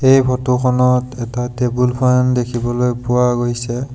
এই ফটো খনত এটা টেবুল ফেন দেখিবলৈ পোৱা গৈছে।